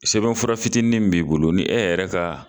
Sɛbɛnfura fitinin min b'i bolo ni e yɛrɛ ka